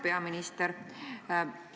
Hea peaminister!